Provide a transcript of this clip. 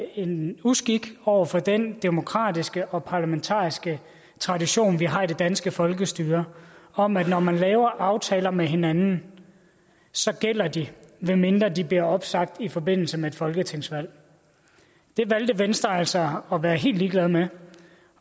en uskik over for den demokratiske og parlamentariske tradition vi har i det danske folkestyre om at når man laver aftaler med hinanden gælder de medmindre de bliver opsagt i forbindelse med et folketingsvalg det valgte venstre altså at være helt ligeglade med